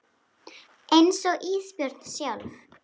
Einsog Ísbjörg sjálf.